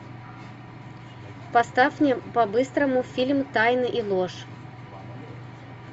поставь мне по быстрому фильм тайны и ложь